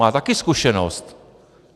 Má taky zkušenost.